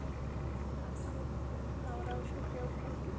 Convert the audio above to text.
Hann tók á rás og hljóp heim til sín.